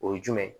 O ye jumɛn ye